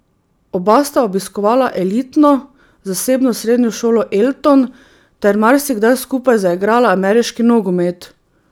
Oba sta obiskovala elitno, zasebno srednjo šolo Elton ter marsikdaj skupaj zaigrala ameriški nogomet.